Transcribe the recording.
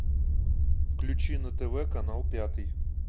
включи на тв канал пятый